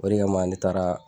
O de kama, ne taara